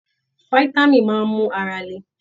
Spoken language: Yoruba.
Fitami máa n mú ara lè.